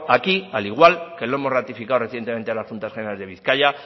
aquí al igual que lo hemos ratificado recientemente en las juntas generales de bizkaia